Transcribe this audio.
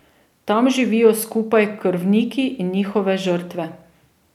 Tam živijo skupaj krvniki in njihove žrtve.